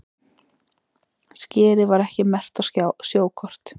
Skerið var ekki merkt á sjókort